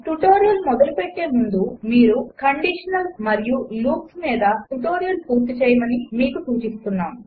tutorial మొదలుపెట్టే మునుపు conditionals మరియు లూప్స్ మీద ట్యుటోరియల్ పూర్తి చేయమని మీకు సూచిస్తున్నాము